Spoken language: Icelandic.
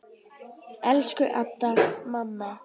Elsku Adda, mamma.